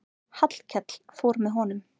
Hallkell fór með honum.